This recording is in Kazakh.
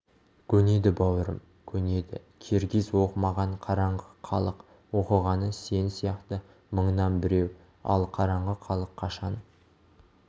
көнеді бауырым көнеді киргиз оқымаған қараңғы халық оқығаны сен сияқты мыңнан біреу ал қараңғы халық қашан